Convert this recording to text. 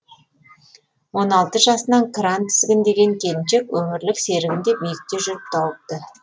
он алты жасынан кран тізгіндеген келіншек өмірлік серігін де биікте жүріп тауыпты